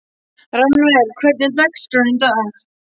Rannver, hvernig er dagskráin í dag?